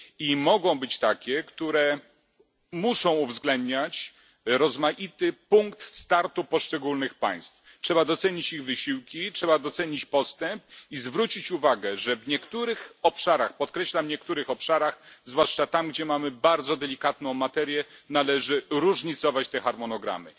I mogą być takie, które muszą uwzględniać rozmaity punkt startu poszczególnych państw. Trzeba docenić ich wysiłki, trzeba docenić postęp i zwrócić uwagę, że w niektórych obszarach podkreślam niektórych obszarach zwłaszcza tam, gdzie mamy bardzo delikatną materię, należy różnicować te harmonogramy.